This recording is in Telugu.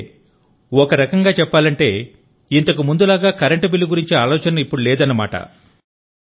అంటే ఒకరకంగా చెప్పాలంటే ఇంతకు ముందులాగా కరెంటు బిల్లు గురించిన ఆలోచన ఇప్పుడు లేదన్నమాట